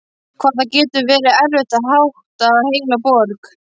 Hvað það getur verið erfitt að hátta heila borg!